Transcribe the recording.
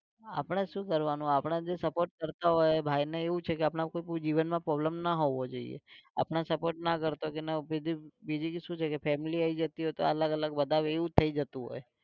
આપણે શું કરવાનું, આપણે જે support કરતાં હોય એ ભાઈ ને એવું છે કે આપણાં ઉપર કોઈ જીવનમાં problem ન હોવો જોઈંએ આપણે support ના કરતાં હોય કે બીજી બીજું શું છે કે family આવી જતી હોય તો અલગ અલગ વધારે એવું જ થઈ જતું હોય